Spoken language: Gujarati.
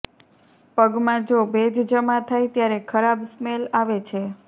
પગમાં જો ભેજ જમા થાય ત્યારે ખરાબ સ્મેલ આવે છે